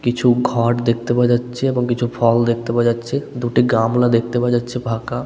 কিছু ঘট দেখতে পাওয়া যাচ্ছে এবং কিছু ফল দেখতে পাওয়া যাচ্ছে। দুটি গামলা দেখতে পাওয়া যাচ্ছে ফাঁকা।